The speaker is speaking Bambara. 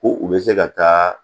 Ko u bɛ se ka taa